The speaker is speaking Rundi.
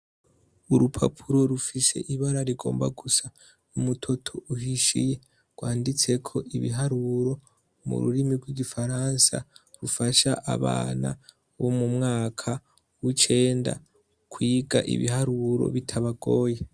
Urupapuro rufise ibara rigomba gusa umutoto uhishiye, rwanditse ko ibiharuro mu rurimi rw'igifaransa rufasha abana bo mu mwaka wucenda kwiga ibiharuro bitabagoye.